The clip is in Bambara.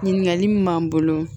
Ɲininkali min m'an bolo